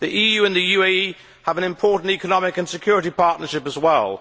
The EU and the UAE have an important economic and security partnership as well.